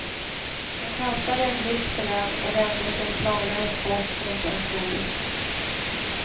Han kastade en blick på den och vände sig planlöst bort mot en stol.